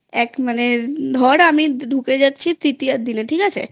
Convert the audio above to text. এক মানে ধর ঢুকে যাচ্ছি তৃতীয়ার দিনে